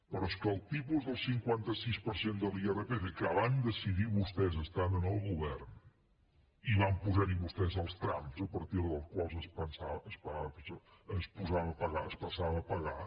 però és que el tipus del cinquanta sis per cent de l’irpf que van decidir vostès estant en el govern hi van posar vostès els trams a partir dels quals es passava a pagar